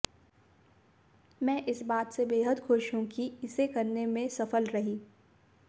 मैं इस बात से बेहद खुश हूं कि इसे करने में सफल रही